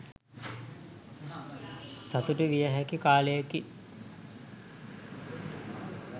සතුටු වියහැකි කාලයකි.